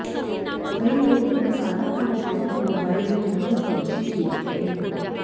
कई लोग अपना सारा काम छोड़कर मोबाइल में दिनभर पबजी खेलते हैं